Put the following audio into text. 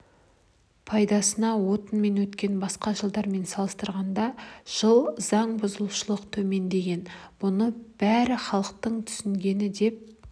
пайдасына отынымен өткен басқа жылдармен салыстырғанда жылы заң бұзушылық төмендеген бұның бәрі халықтың түсінгені деп